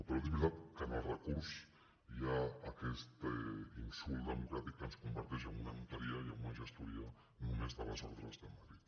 però és veritat que en el recurs hi ha aquest insult democràtic que ens converteix en una notaria i en una gestoria només de les ordres de madrid